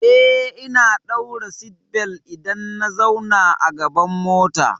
Eh, ina ɗaura seatbelt idan na zauna a gaban mota.